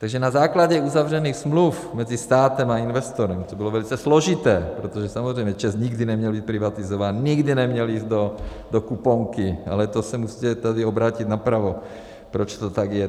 Takže na základě uzavřených smluv mezi státem a investorem - to bylo velice složité, protože samozřejmě ČEZ nikdy neměl být privatizován, nikdy neměl jít do kuponky, ale to se musíte tady obrátit napravo, proč to tak je...